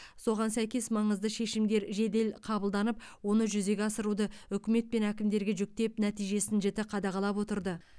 соған сәйкес маңызды шешімдер жедел қабылданып оны жүзеге асыруды үкімет пен әкімдерге жүктеп нәтижесін жіті қадағалап отырды